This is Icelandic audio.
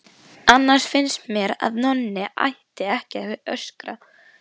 Annars finnst mér að Nonni ætti ekki að öskra.